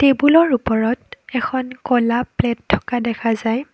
টেবুলৰ ওপৰত এখন ক'লা প্লেট থকা দেখা যায়।